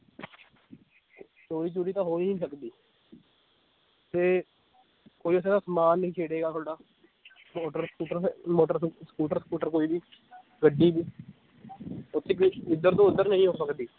ਚੋਰੀ ਚੂਰੀ ਤਾਂ ਹੋ ਹੀ ਨੀ ਸਕਦੀ ਤੇ ਕੋਈ ਉੱਥੇ ਦਾ ਸਮਾਨ ਨੀ ਛੇੜੇਗਾ ਤੁਹਾਡਾ ਮੋਟਰ ਸਕੂਟਰ ਹੈ ਮੋਟਰ ਸਕੂਟਰ ਸਕੂਟਰ ਕੋਈ ਵੀ ਗੱਡੀ ਵੀ ਓਥੇ ਕੁਛ ਏਧਰ ਤੋਂ ਓਧਰ ਨਹੀਂ ਹੋ ਸਕਦੀ